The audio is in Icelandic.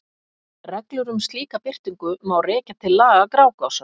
Reglur um slíka birtingu má rekja til laga Grágásar.